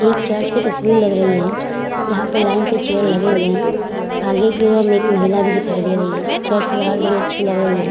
एक चर्च की तस्वीर लग रही है जहाँ पे लाइन से चेयर लगे हुए है। आगे की ओर में एक महिला भी दिखाई दे रही है। चर्च की सजावट बहोत अच्छी लग रही है।